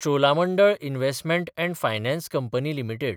Cholamandalam investment & finance company limited